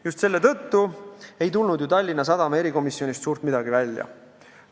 Just selle tõttu ei tulnud ju Tallinna Sadama erikomisjonist suurt midagi välja.